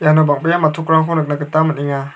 iano bang·bea matchokrangko nikna gita man·enga.